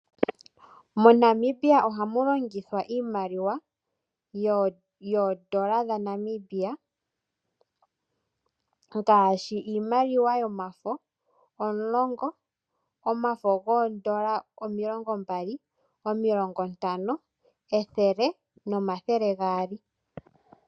MoNamibia ohamu longithwa iimaliwa yoondola dhaNamibia. Ngaashi Iimaliwa yomafo omulongo, omafo goondola omilongo mbali, omilongo ntano, ethele, no mathele gaali.